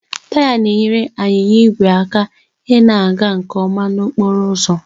Taya na-enyere anyịnya igwe aka ịna-aga nke ọma n'okporo ụzọ